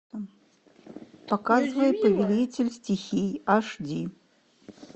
показывай повелитель стихий аш ди